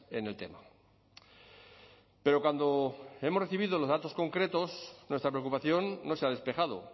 en el tema pero cuando hemos recibido los datos concretos nuestra preocupación no se ha despejado